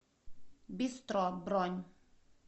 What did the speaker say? бистро бронь